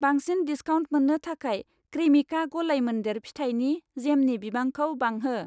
बांसिन डिसकाउन्ट मोन्नो थाखाय क्रेमिका लगायमोन्देर फिथाइनि जेमनि बिबांखौ बांहो।